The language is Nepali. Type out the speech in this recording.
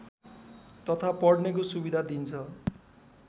तथा पढ्नेको सुविधा दिन्छ